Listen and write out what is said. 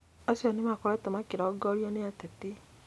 Acio nĩmakoretwo makĩrongorio nĩ ateti